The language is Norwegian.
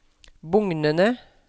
bugnende